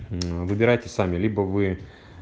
мм выбирайте сами либо вы